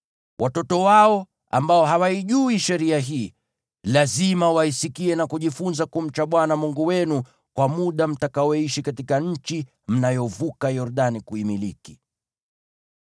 Watoto wao, ambao hawaijui sheria hii, lazima waisikie na kujifunza kumcha Bwana Mungu wenu kwa muda mtakaoishi katika nchi mnayovuka Yordani kuimiliki.”